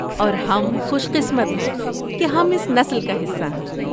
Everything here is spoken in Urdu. اور ہم خوش قسمت ہیں کہ ہم اس نسل کا حصہ ہیں۔